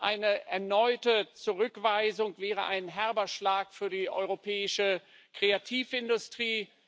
Eine erneute Zurückweisung wäre ein herber Schlag für die europäische Kreativindustrie.